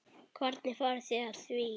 Hvernig fóruð þið að því?